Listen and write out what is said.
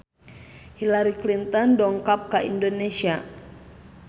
Hillary Clinton dongkap ka Indonesia